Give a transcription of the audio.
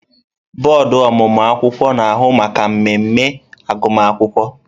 Bọọdụ ọmụmụ akwụkwọ na-ahụ maka mmemme agụmakwụkwọ.